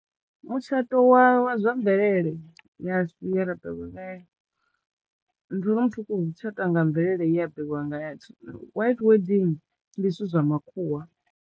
Mutshato wa wa zwa mvelele ya u khou tshata nga mvelele white wedding ndi zwithu zwa makhuwa.